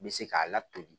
N bɛ se k'a latoli